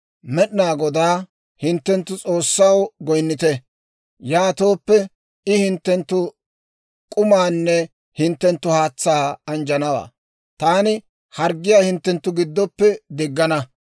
Med'inaa Godaa, hinttenttu S'oossaw, goynnite; yaatooppe, I hinttenttu k'umaanne hinttenttu haatsaa anjjanawaa; taani harggiyaa hinttenttu giddoppe diggana.